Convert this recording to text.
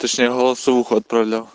голосовую отправь